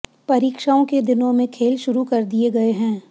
परीक्षाओं के दिनों में खेल शुरू कर दिए गए हैं